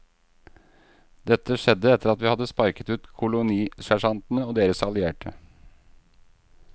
Dette skjedde etter at vi hadde sparket ut kolonisersjantene og deres allierte.